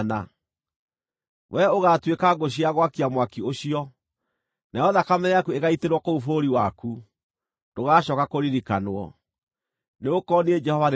Wee ũgaatuĩka ngũ cia gwakia mwaki ũcio, nayo thakame yaku ĩgaitĩrwo kũu bũrũri waku, ndũgacooka kũririkanwo; nĩgũkorwo niĩ Jehova nĩ niĩ njarĩtie.’ ”